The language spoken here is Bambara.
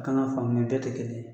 A kan ka faamuya bɛɛ tɛ kelen ye.